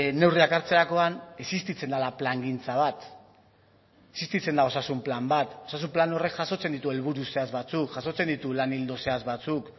neurriak hartzerakoan existitzen dela plangintza bat existitzen da osasun plan bat osasun plan horrek jasotzen ditu helburu zehatz batzuk jasotzen ditu lan ildo zehatz batzuk